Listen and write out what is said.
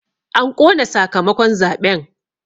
An ƙona sakamakon zaɓen